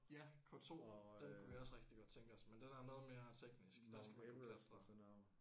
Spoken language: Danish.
Ja K2 den kunne vi også rigtig godt tænke os men den er noget mere teknisk. Der skal vi op at klatre